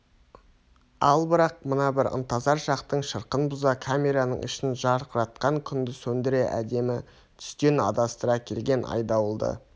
ал бірақ мына бір ынтызар шақтың шырқын бұза камераның ішін жарқыратқан күнді сөндіре әдемі түстен адастыра келген айдауылды